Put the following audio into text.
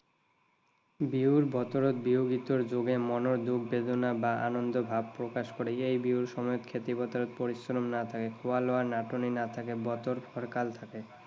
বিহুৰ বতৰত বিহু গীতৰ যোগেৰে মনৰ দুখ বেদনা বা আনন্দ ভাৱ প্ৰকাশ কৰে। এই বিহুৰ সময়ত খেতি পথাৰত পৰিশ্ৰম নাথাকে। খোৱাৰ নাটনি নাথাকে, বতৰ ফৰকাল থাকে।